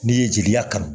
N'i ye jeliya kan